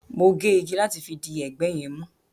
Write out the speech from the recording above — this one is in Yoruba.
Mo gé igi láti fi di ẹgbẹ́ yẹn mú